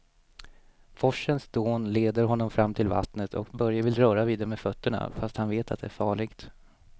Forsens dån leder honom fram till vattnet och Börje vill röra vid det med fötterna, fast han vet att det är farligt.